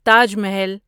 Taj Mahal